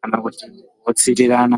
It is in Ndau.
kana kuti kutsitirana.